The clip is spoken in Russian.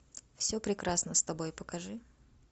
все прекрасно с тобой покажи